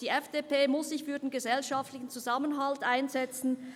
Die FDP muss sich für den gesellschaftlichen Zusammenhalt einsetzen.